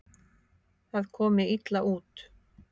Það komi illa út.